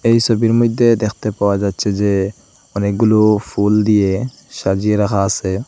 এই ছবির মধ্যে দেখতে পাওয়া যাচ্ছে যে অনেকগুলো ফুল দিয়ে সাজিয়ে রাখা আছে।